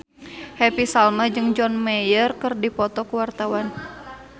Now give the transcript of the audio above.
Happy Salma jeung John Mayer keur dipoto ku wartawan